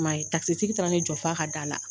man ye tigi taara ni jɔ f'a ka da la.